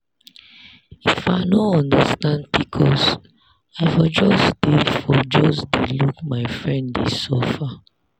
if i no understand pcos i for just dey for just dey look my friend dey suffer.